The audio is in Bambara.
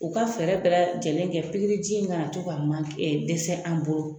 U ka fɛɛrɛ bɛɛ lajɛlen kɛ piriji in ka na to ka manke dɛsɛ an bolo.